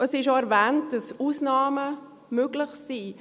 Es ist auch erwähnt, dass Ausnahmen möglich sind.